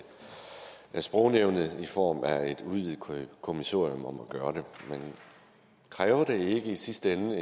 sprognævnet i form af et udvidet kommissorium at gøre det men kræver det ikke i sidste ende